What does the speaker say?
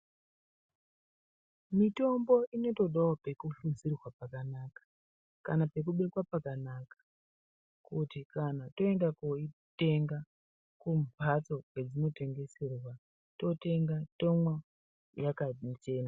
Mitombo inotodawo kufukidzirwa pakanaka kuti kana tooenda kundoitenga kumhatso kwainotengeserwa totenga tomwa yakachena.